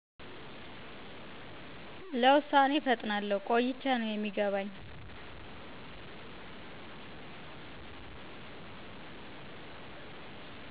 ለውሳኔ እፈጥናለሁ ቆይቸ ነው የሚገባኝ